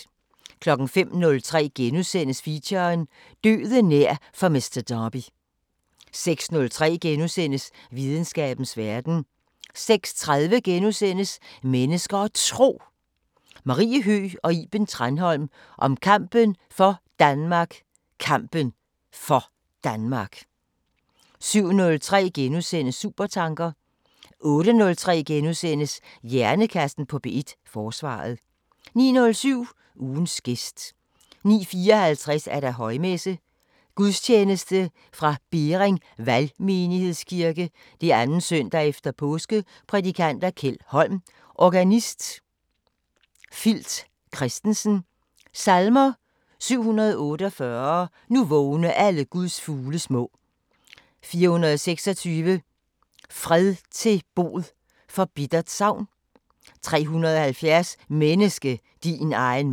05:03: Feature: Døden nær for Mister Derby * 06:03: Videnskabens Verden * 06:30: Mennesker og Tro: Marie Høgh og Iben Tranholm om kampen for Danmark Kampen for Danmark * 07:03: Supertanker * 08:03: Hjernekassen på P1: Forsvaret * 09:07: Ugens gæst 09:54: Højmesse - Gudstjeneste fra Bering Valgmenighedskirke. 2. søndag efter påske Prædikant: Kjeld Holm. Organist: Filt Kristensen. Salmer: 748: "Nu vågne alle Guds fugle små" 426: "Fred til bod for bittert savn" 370: "Menneske, din egen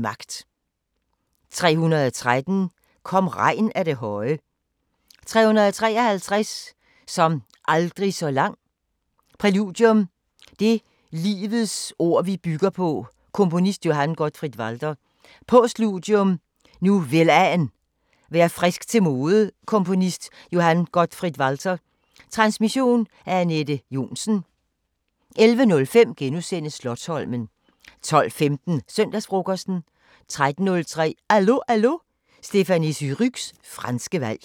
magt" 313: "Kom regn af det høje" 353: "Som aldrig så lang" Præludium: Det livets ord vi bygger på Komponist: Johann Gottfried Walther. Postludium: Nu velan, vær frisk til mode Komponist: Johann Gottfried Walther. Transmission: Anette Johnsen. 11:05: Slotsholmen * 12:15: Søndagsfrokosten 13:03: Allo Allo – Stéphanie Surrugues franske valg